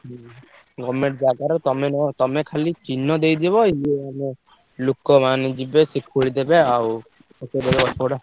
ହୁଁ government ଜାଗାରେ ତମେ ନହେଲେ ତମେ ଖାଲି ଚିହ୍ନ ଦେଇଦବ ଇଏ ମାନେ ଲୋକ ମାନେ ଯିବେ ସିଏ ଖୋଳି ଦେବେ ଆଉ ପକେଇଦେବେ ଗଛ ଗୁଡା।